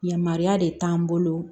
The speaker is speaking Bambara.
Yamaruya de t'an bolo